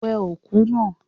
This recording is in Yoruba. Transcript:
Wẹ òkú náà!